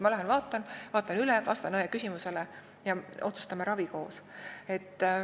Ma lähen vaatan üle, vastan õe küsimusele ja me koos otsustame ravi.